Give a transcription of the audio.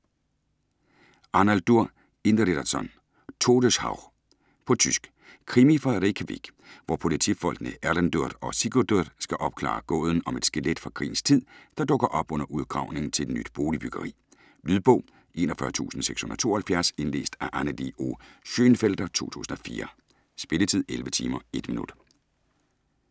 Arnaldur Indridason: Todeshauch På tysk. Krimi fra Reykjavik, hvor politifolkene Erlendur og Sigurdur skal opklare gåden om et skelet fra krigens tid, der dukker op under udgravningen til et nyt boligbyggeri. Lydbog 41672 Indlæst af Annelie O. Schönfelder, 2004. Spilletid: 11 timer, 1 minutter.